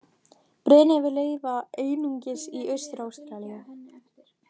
Breiðnefir lifa einungis í Austur-Ástralíu.